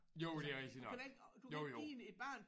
Jo det er rigtigt nok. Jo jo